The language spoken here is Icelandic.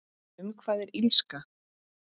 Um hvað er Illska?